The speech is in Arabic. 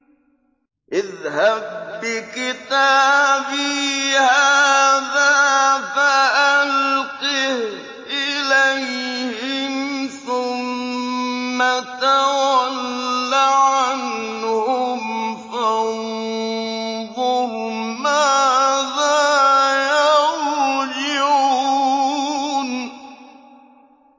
اذْهَب بِّكِتَابِي هَٰذَا فَأَلْقِهْ إِلَيْهِمْ ثُمَّ تَوَلَّ عَنْهُمْ فَانظُرْ مَاذَا يَرْجِعُونَ